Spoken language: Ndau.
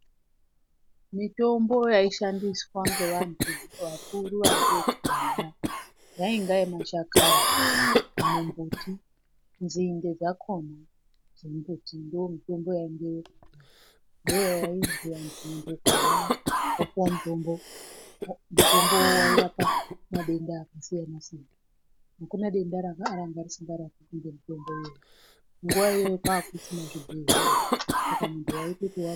Mitombo yaishandiswa ngevantu vakuru vantu vekudhaya yainga yemashakani, mumbuti, nzinde dzakhona dzembuti ndomitombo yaingeyo ndoyainzwi vantu nyangwe ukarwara wopuwa mutombo, mutombo wairapa madenda akasiyana -siyana, hakuna denda ranga risingarapiki ngemitombo iyoyo. Nguwa iyoyo kwanga kusina zvibhehlera Saka muntu waitoti wa.